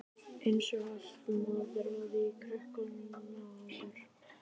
Eins og allt moraði í krökkum maður.